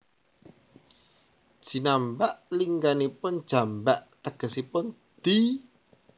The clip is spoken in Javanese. Jinambak lingganipun jambak tegesipun di